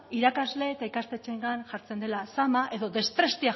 irakasle eta ikastetxeengan jartzen dela zama edo